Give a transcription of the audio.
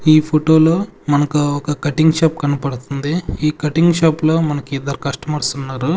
ఈ ఫోటో లో మనకు ఒక కటింగ్ షాప్ కనపడుతుంది ఈ కటింగ్ షాప్ లో మనకి ఇద్దరు కస్టమర్స్ ఉన్నారు.